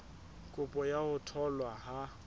kopo ya ho tholwa ha